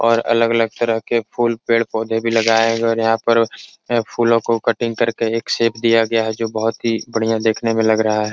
और अलग-अलग तरह के फुल पेड़ -पोधे भी लगाये हैं और यहाँ पर फूलो को कटिंग करके एक शेप दिया गया है जो बहुत ही बढियां देखने में लग रहा है।